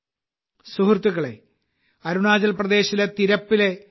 സുഹൃത്തുക്കളേ അരുണാചൽ പ്രദേശിലെ തിരപ്പിലെ ശ്രീ